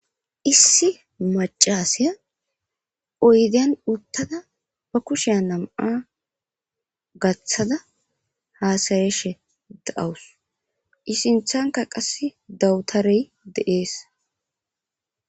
issi macaseya oydiyan uttada ba kushea nam7a gaththada haasareshe da7awus isinthanka qass dawutarey de7ees